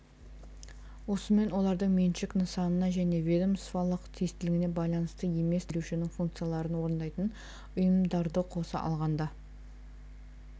осымен олардың меншік нысанына және ведомстволық тиістілігіне байланысты емес тапсырыс берушінің функцияларын орындайтын ұйымдарды қоса алғанда